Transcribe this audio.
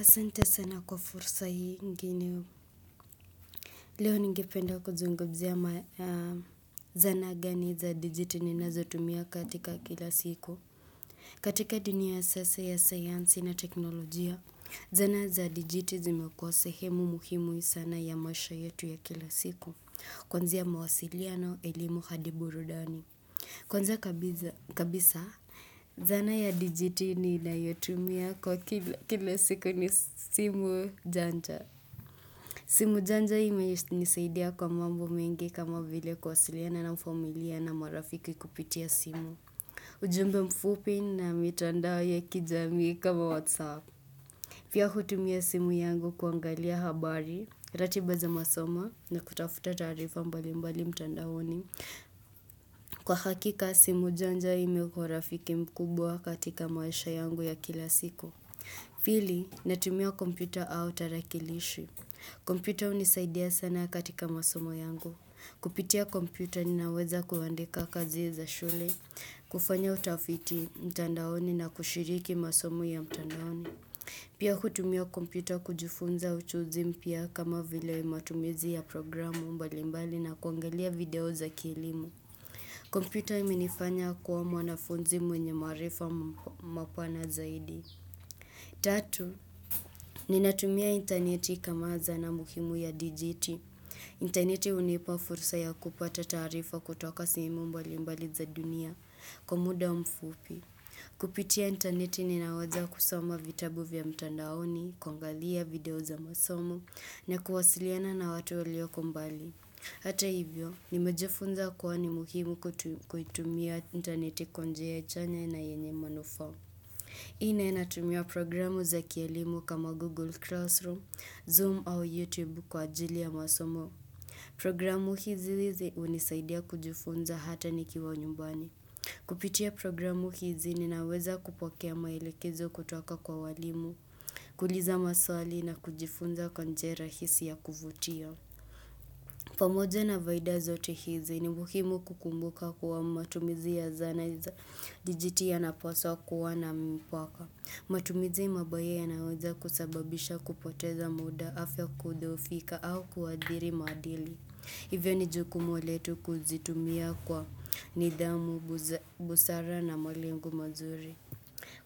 Asante sana kwa fursa hii ingine. Leo ningependa kuzungumzia ma zana gani za dijiti ni nazo tumia katika kila siku. Katika dunia sasa ya sayansi na teknolojia, zana za dijiti zimekua sehemu muhimu sana ya maisha yetu ya kila siku. Kuanzia ya mawasiliano elimu hadiburudani. Kwanza kabisa, zana ya dijiti ninayotumia kwa kila siku ni simu janja. Simu janja imenisaidia kwa mambo mengi kama vile kuwasiliana na familia na marafiki kupitia simu. Ujumbe mfupi na mitandao ya kijamii kama whatsapp. Pia hutumia simu yangu kuangalia habari, ratiba za masoma na kutafuta taarifa mbali mbali mtandaoni. Kwa hakika, simu janja imekuwa rafiki mkubwa katika maisha yangu ya kila siku. Pili, natumia kompyuta au tarakilishi. Kompyuta hunisaidia sana katika masomo yangu. Kupitia kompyuta ninaweza kuandika kazi za shule, kufanya utafiti mtandaoni na kushiriki masomo ya mtandaoni. Pia kutumia kompyuta kujufunza ujuzi mpya kama vile matumizi ya programu mbalimbali na kuangalia video za kilimu. Kompyuta iminifanya kuwa mwanafunzi mwenye marifa mapana zaidi. Tatu, ninatumia intaneti kama zanaa muhimu ya dijiti. Intaneti hunipa furusa ya kupata tarifa kutoka sehemu mbali mbali za dunia kwa muda mfupi. Kupitia intaneti ninawaza kusoma vitabu vya mtandaoni, kuangalia video za masomo, na kuwasiliana na watu walioko mbali. Hata hivyo, nimejifunza kuwa ni muhimu kuitumia intaneti kwajia chanya na yenye manufa. Nne natumia programu za kialimu kama Google Classroom, Zoom au YouTube kwa ajili ya masomo. Programu hizi hizi unisaidia kujifunza hata nikiwa nyumbani. Kupitia programu hizi ninaweza kupokea mailekezo kutoka kwa walimu, kuuliza maswali na kujifunza kwa njia hisi ya kuvutia. Pamoja na faida zote hizi ni muhimu kukumbuka kuwa matumizi ya zana za dijiti ya napaswa kuwa na mpaka. Matumizi mabaya yanaweza kusababisha kupoteza muda afya kudhoofika au kuadhiri madili. Hivyo ni jukumu letu kuzitumia kwa nidhamu, busara na malengo mazuri.